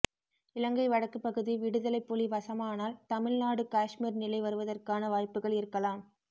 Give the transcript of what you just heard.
இலங்கை வடக்குப்பகுதி விடுதலைப் புலி வசமானால் தமிழ் நாடு காஷ்மீர் நிலை வருவதற்கான வாய்ப்புகள் இருக்கலாம்